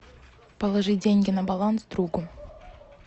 положи деньги на баланс другу